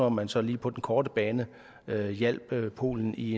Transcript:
at man så lige på den korte bane hjalp polen i